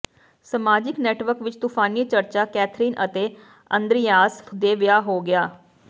ਸਮਾਜਿਕ ਨੈੱਟਵਰਕ ਵਿੱਚ ਤੂਫ਼ਾਨੀ ਚਰਚਾ ਕੈਥਰੀਨ ਅਤੇ ਅੰਦ੍ਰਿਯਾਸ ਦੇ ਵਿਆਹ ਹੋ ਗਿਆ